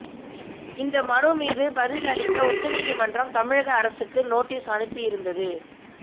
இந்த மனு மீது பதில் அளிக்க உச்சநீதிமன்றம் தமிழக அரசுக்கு நோட்டீஸ் அனுப்பியிருந்தது